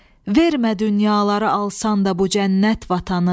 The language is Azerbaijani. Vermə dünyaları alsan da bu cənnət vətanı.